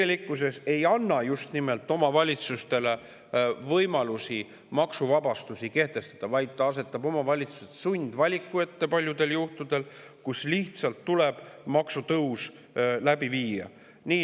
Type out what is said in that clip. See ei anna tegelikkuses omavalitsustele võimalusi maksuvabastusi kehtestada, vaid asetab omavalitsused paljudel juhtudel sundvaliku ette, nii et lihtsalt tuleb maksutõus läbi viia.